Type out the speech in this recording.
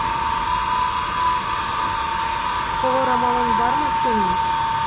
қол орамалың бар ма сенің